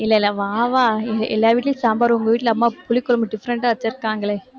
இல்ல, இல்ல வா வா எல்லார் வீட்டுலயும் சாம்பார் உங்க வீட்டுல அம்மா புளிக்குழம்பு different ஆ வச்சிருக்காங்களே,